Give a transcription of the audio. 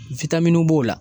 b'o la.